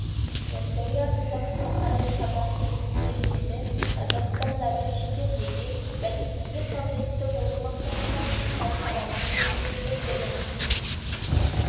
ясауи атындағы халықаралық қазақ-түрік университеті қазақстанда да шетелде де бәсекеге қабілетті болу мақсатында халықаралық деңгейдегі білім